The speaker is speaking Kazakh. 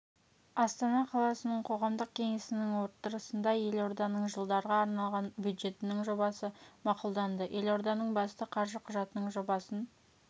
астана қаласының қоғамдық кеңесінің отырысында елорданың жылдарға арналған бюджетінің жобасы мақұлданды елорданың басты қаржы құжатының жобасын